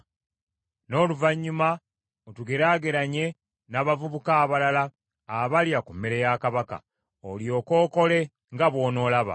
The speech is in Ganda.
N’oluvannyuma otugeraageranye n’abavubuka abalala abalya ku mmere ya kabaka, olyoke okole nga bw’onoolaba.”